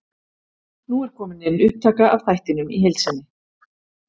Nú er komin inn upptaka af þættinum í heild sinni.